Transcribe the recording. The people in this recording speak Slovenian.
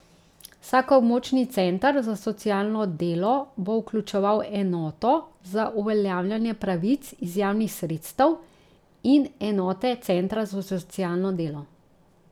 Vsak območni center za socialno delo bo vključeval enoto za uveljavljanje pravic iz javnih sredstev in enote centra za socialno delo.